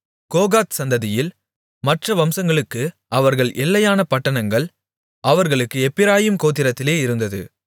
கோகாத் சந்ததியில் மற்ற வம்சங்களுக்கு அவர்கள் எல்லையான பட்டணங்கள் அவர்களுக்கு எப்பிராயீம் கோத்திரத்திலே இருந்தது